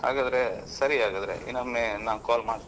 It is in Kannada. ಹಾಗಾದ್ರೆ ಸರಿ ಹಾಗಾದ್ರೆ ಇನ್ನೊಮ್ಮೆ ನಾನ್ call ಮಾಡ್ತೇನೆ.